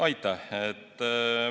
Aitäh!